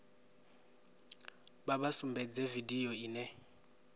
vha vha sumbedze vidio ine